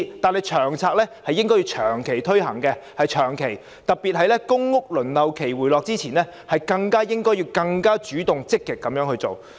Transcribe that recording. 至於《長策》，政府應該長期推行，特別是在公屋輪候期回落之前，應更主動、積極地去做。